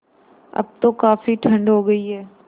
अब तो काफ़ी ठण्ड हो गयी है